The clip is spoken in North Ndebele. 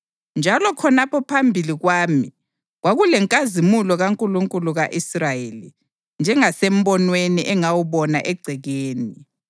Njalo khonapho phambili kwami kwakulenkazimulo kaNkulunkulu ka-Israyeli, njengasembonweni engawubona egcekeni.